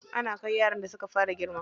Ana kai yaran da suka fara girma.